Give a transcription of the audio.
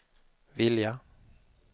vilja